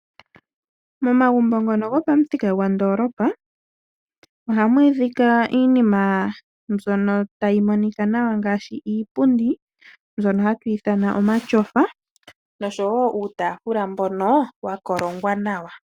Momagumbo ngono gopamuthika gwandoolopa ohamu adhika iinima mbyono tayi monika nawa ngaashi iipundi, mbyono hatu ithana omatyofa noshowo uutaafula mbono wa kolongwa nawa.